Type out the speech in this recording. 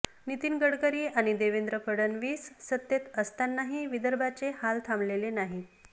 नितीन गडकरी आणि देवेंद्र फडणवीस सत्तेत असतानाही विदर्भाचे हाल थांबलेले नाहीत